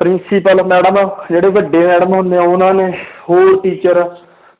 principal madam ਜਿਹੜੇ ਵੱਡੇ madam ਹੁੰਦੇ ਆ ਉਹਨਾਂ ਨੇ ਹੋਰ teacher